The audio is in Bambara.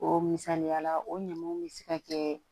O misaliya la o ɲamanw bɛ se ka kɛ